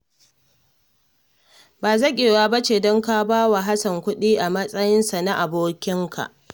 Ba zaƙewa ba ce don ka ba wa Hassan kuɗi, a matsayinsa na abokinka